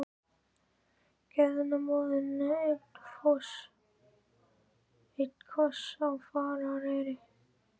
Gefðu nú móður þinni einn koss í farareyri!